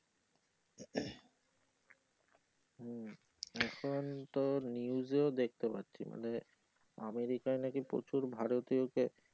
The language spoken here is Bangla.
তারপর তোর news ও দেখতে পাচ্ছি মানে আমেরিকায় নাকি প্রচুর ভারতীয়কে